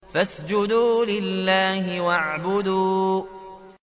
فَاسْجُدُوا لِلَّهِ وَاعْبُدُوا ۩